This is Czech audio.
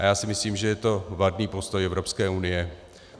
A já si myslím, že je to vadný postoj Evropské unie.